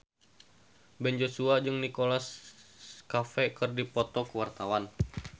Ben Joshua jeung Nicholas Cafe keur dipoto ku wartawan